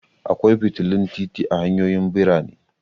Akwai fitilun titi a hanyoyin birane.